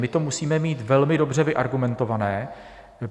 My to musíme mít velmi dobře vyargumentované.